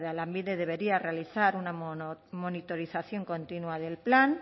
lanbide debería realizar una monitorización continúa del plan